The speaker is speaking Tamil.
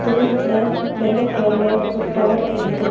தூரத்துல வெள்ள கலர்ல ஒரு டவர் தெரிது.